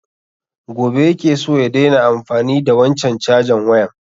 Gobe ya ke so ya daina amfani da wanchan cajan wayan